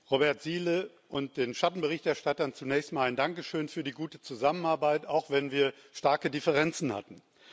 Robert Zīle und den Schattenberichterstattern zunächst mal ein Dankeschön für die gute Zusammenarbeit, auch wenn wir starke Differenzen hatten.